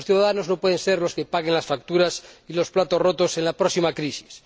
Los ciudadanos no pueden ser los que paguen las facturas y los platos rotos en la próxima crisis.